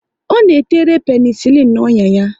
Ọ na tere penesilin n'ọnyà ya